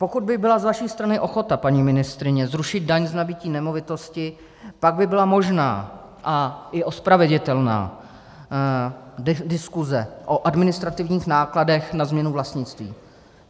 Pokud by byla z vaší strany ochota, paní ministryně, zrušit daň z nabytí nemovitosti, pak by byla možná a i ospravedlnitelná diskuse o administrativních nákladech na změnu vlastnictví.